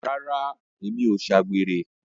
Rárá, mi ò ṣe àgbèrè.